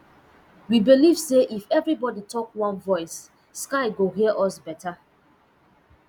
we believe say if everybody talk one voice sky go hear us better